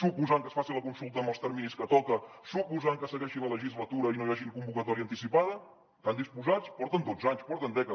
suposant que es faci la consulta en els terminis que toca suposant que segueixi la legislatura i no hi hagi convocatòria anticipada hi estan disposats porten dotze anys porten dècades